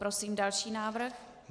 Prosím další návrh.